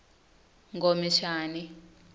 khomishani